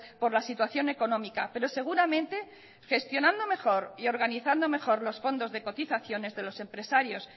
por la situación económica pero seguramente gestionando mejor y organizando mejor los fondos de cotizaciones de los empresarios